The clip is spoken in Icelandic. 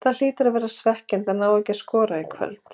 Það hlýtur að vera svekkjandi að ná ekki að skora í kvöld?